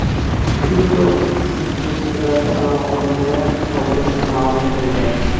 Tryudo, shuningdek, teraktga aloqadorlar topilishini ma’lum qildi.